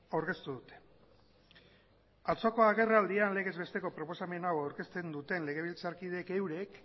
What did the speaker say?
aurkeztu dute atzoko agerraldian legez besteko proposamen hau aurkezten duten legebiltzarkideek eurek